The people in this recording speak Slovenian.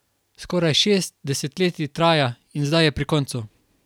Skoraj šest desetletij traja in zdaj je pri koncu.